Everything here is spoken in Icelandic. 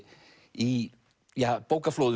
í